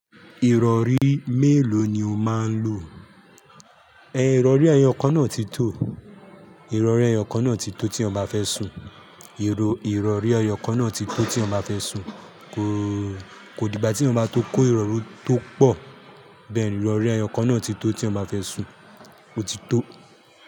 Ìrọ̀rí mélò ni o máa ń lo? Ìrọ̀rí ẹyọ kan náà ti tó. Ìrọ̀rí ẹyọ kan náà ti tó tí èyàn bá fẹ́ sùn. Ìrọ̀rí ẹyọ kan náà ti tọ́ tí èyàn bá fẹ́ sùn. Kò dì gbá tí èyàn bá tó kó ìrọ̀rí tó pọ̀, bẹ́ẹ̀ ni ìrọ̀rí ẹyọ kan náà ti tó tí èyàn bá fẹ́ sùn. Ó ti tó.